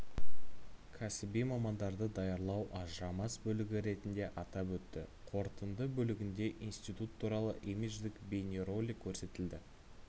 кәсіби мамандарды даярлау ажырамас бөлігі ретінде атап өтті қорытынды бөлігінде институт туралы имидждік бейнеролик көрсетілді